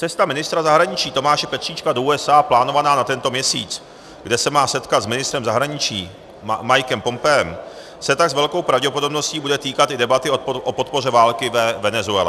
Cesta ministra zahraničí Tomáše Petříčka do USA plánovaná na tento měsíc, kde se má setkat s ministrem zahraničí Mikem Pompeem, se tak s velkou pravděpodobností bude týkat i debaty o podpoře války ve Venezuele.